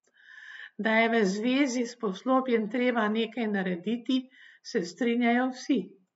Da je v zvezi s poslopjem treba nekaj narediti, se strinjajo vsi.